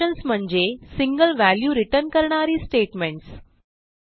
functions म्हणजे single value return करणारी statements